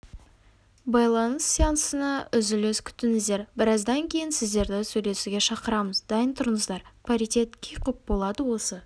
байланыс сеансына үзіліс күтіңіздер біраздан кейін сіздерді сөйлесуге шақырамыз дайын тұрыңыздар паритет кей құп болады осы